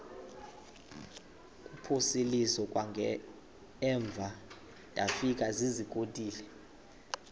kuphosiliso kwangaemva ndafikezizikotile